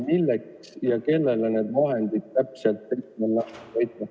Milleks ja kellele need vahendid täpselt ette on nähtud?